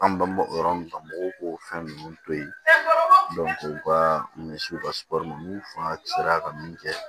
An bɛ yɔrɔ min na mɔgɔw k'o fɛn ninnu to yen u ka misiw ka n'u fanga sera ka min kɛ